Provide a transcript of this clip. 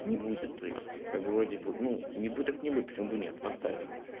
не будет то есть как бы вроде бы ну не будет так не будет почему бы нет поставил